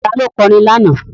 Ta ló kọ orin lánàá?